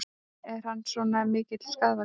Er hann svona mikill skaðvaldur?